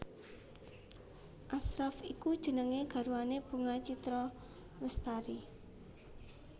Ashraff iku jenenge garwane Bunga Citra Lestari